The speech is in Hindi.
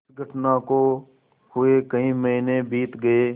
इस घटना को हुए कई महीने बीत गये